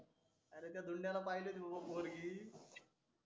अरे त्या धूनड्या पाहिलेली होती बाबा पोरगी